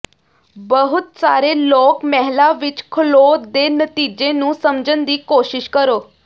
ਬਹੁਤ ਸਾਰੇ ਲੋਕ ਮਹਿਲਾ ਵਿੱਚ ਖਲ੍ਹੋ ਦੇ ਨਤੀਜੇ ਨੂੰ ਸਮਝਣ ਦੀ ਕੋਸ਼ਿਸ਼ ਕਰੋ